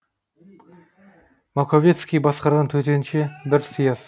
маковецкий басқарған төтенше бір сияз